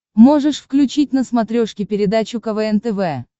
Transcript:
можешь включить на смотрешке передачу квн тв